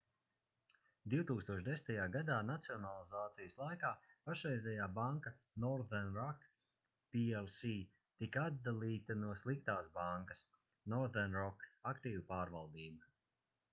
2010. gadā nacionalizācijas laikā pašreizējā banka northern rock plc tika atdalīta no sliktās bankas” northern rock aktīvu pārvaldība